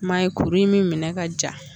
Ma ye kuru in mi minɛ ka ja